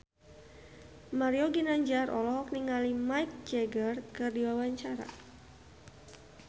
Mario Ginanjar olohok ningali Mick Jagger keur diwawancara